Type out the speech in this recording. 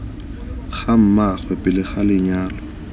ga mmaagwe pele ga lenyalo